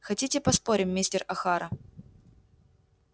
хотите поспорим мистер охара